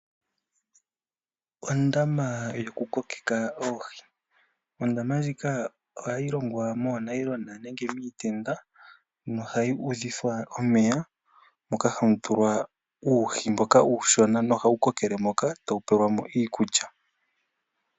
Ondama yokukokeka oohi ohayi longwa moonayilona nenge miitenda nohayi udhithwa omeya moka hamu tulwa uuhi uushona , nohau kokele moka tawu pelwamo iikulya.